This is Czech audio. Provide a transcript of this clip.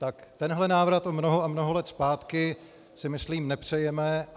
Tak tenhle návrat o mnoho a mnoho let zpátky si myslím nepřejeme.